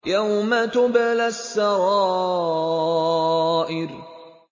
يَوْمَ تُبْلَى السَّرَائِرُ